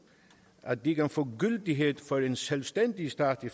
at den kan få gyldighed for en selvstændig stat i